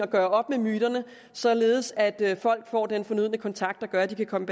gøre op med myterne således at folk får den fornødne kontakt der gør at de kan komme